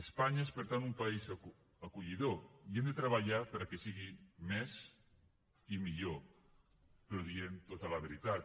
espanya és per tant un país acollidor i hem de treballar perquè sigui més i millor però dient tota la veritat